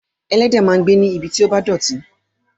Ẹlẹ́dẹ̀ máa ń gbé níbi tí ó bá dọ̀tí.